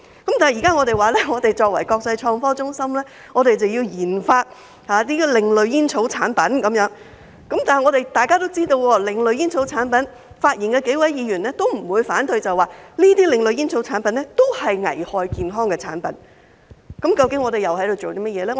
但現在我們說，香港作為國際創科中心要研發另類煙草產品，然而，大家也知道，為另類煙草產品發言的數位議員都不反對這些另類煙草產品是危害健康的產品，那麼我們究竟又在做甚麼呢？